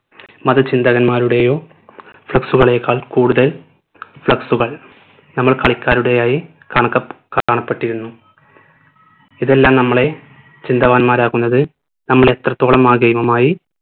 മത ചിന്തകന്മാരുടെയോ flex കളേക്കാൾ കൂടുതൽ flex കൾ നമ്മൾ കളിക്കാരുടേതായി കണക്ക കാണപ്പെട്ടിരുന്നു ഇതെല്ലം നമ്മളെ ചിന്തവാന്മാരാക്കുന്നത് നമ്മൾ എത്രത്തോളം ആ game ഉമായി